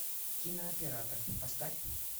кинооператор поставь